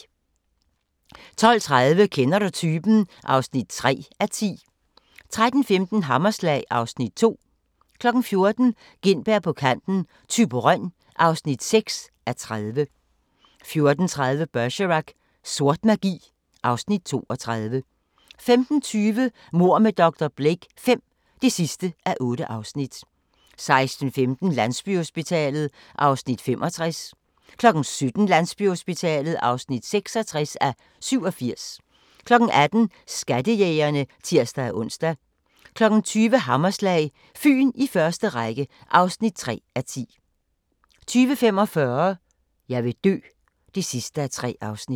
12:30: Kender du typen? (3:10) 13:15: Hammerslag (Afs. 2) 14:00: Gintberg på kanten – Thyborøn (6:30) 14:30: Bergerac: Sort magi (Afs. 32) 15:20: Mord med dr. Blake V (8:8) 16:15: Landsbyhospitalet (65:87) 17:00: Landsbyhospitalet (66:87) 18:00: Skattejægerne (tir-ons) 20:00: Hammerslag – Fyn i første række (3:10) 20:45: Jeg vil dø (3:3)